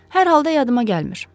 Hər halda yadımda gəlmir.